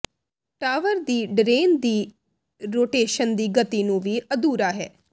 tower ਦੀ drain ਦੀ rotation ਦੀ ਗਤੀ ਨੂੰ ਵੀ ਅਧੂਰਾ ਹੈ